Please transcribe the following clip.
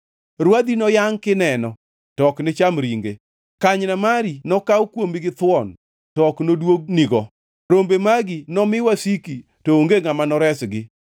Rwadhi noyangʼ kineno, to ok ni cham ringe. Kanyna mari nokaw kuomi githuon, to ok noduognigo. Rombe magi nomi wasiki, to onge ngʼama noresgi.